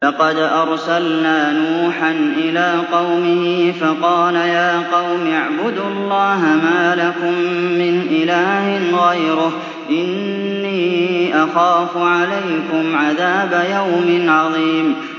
لَقَدْ أَرْسَلْنَا نُوحًا إِلَىٰ قَوْمِهِ فَقَالَ يَا قَوْمِ اعْبُدُوا اللَّهَ مَا لَكُم مِّنْ إِلَٰهٍ غَيْرُهُ إِنِّي أَخَافُ عَلَيْكُمْ عَذَابَ يَوْمٍ عَظِيمٍ